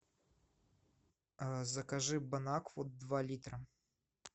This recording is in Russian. закажи бонакву два литра